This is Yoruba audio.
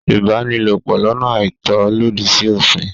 Ìbánilòpò lọ́nà àìtọ́ lòdì sí òfìn.